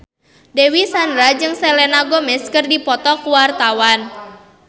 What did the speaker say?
Dewi Sandra jeung Selena Gomez keur dipoto ku wartawan